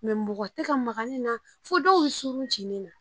mɔgɔ tɛ ka maga ne na fo dɔw bɛ suru ci ne na